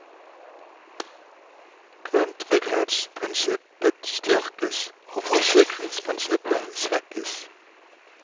Grunntrygghetsprinsippet styrkes, og forsikringsprinsippet svekkes.